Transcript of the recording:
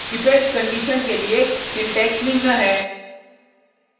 ifelse condition के लिए syntax निम्न है